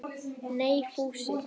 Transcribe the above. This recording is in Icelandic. Nei, Fúsi.